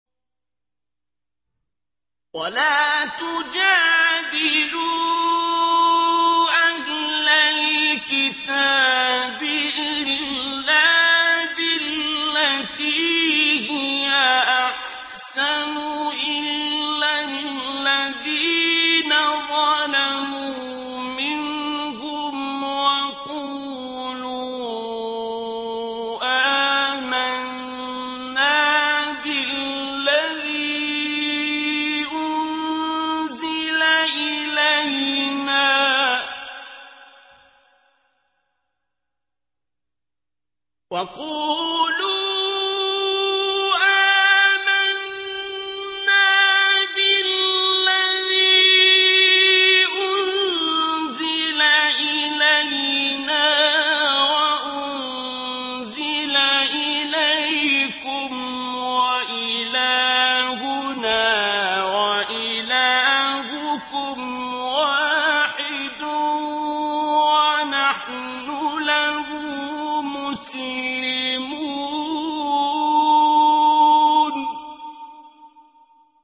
۞ وَلَا تُجَادِلُوا أَهْلَ الْكِتَابِ إِلَّا بِالَّتِي هِيَ أَحْسَنُ إِلَّا الَّذِينَ ظَلَمُوا مِنْهُمْ ۖ وَقُولُوا آمَنَّا بِالَّذِي أُنزِلَ إِلَيْنَا وَأُنزِلَ إِلَيْكُمْ وَإِلَٰهُنَا وَإِلَٰهُكُمْ وَاحِدٌ وَنَحْنُ لَهُ مُسْلِمُونَ